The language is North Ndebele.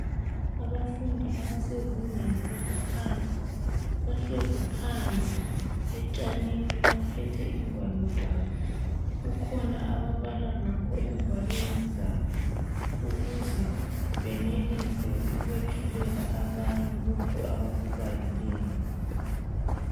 Abafundi abasezingeni eliphansi bahlezi phandle etshanini baphethe ingwalo zabo, kukhona ababala ngakho engwalweni zabo ukuze benelise ukwethulela abanye lokho abakubalileyo.